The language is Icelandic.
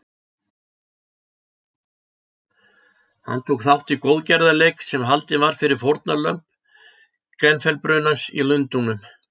Hann tók þátt í góðgerðarleik sem haldinn var fyrir fórnarlömb Grenfell-brunans í Lundúnum.